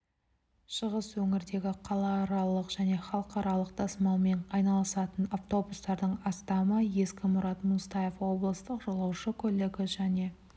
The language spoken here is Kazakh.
шығыс өңірдегі қалааралық және халықаралық тасымалмен айналысатын автобустардың астамы ескі мұрат мұсатаев облыстық жолаушы көлігі және